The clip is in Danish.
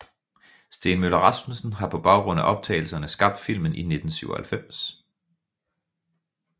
Steen Møller Rasmussen har på baggrund af optagelserne skabt filmen i 1997